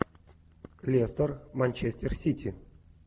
лестер манчестер сити